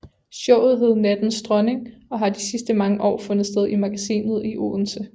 Showet hedder Nattens Dronning og har de sidste mange år fundet sted i Magasinet i Odense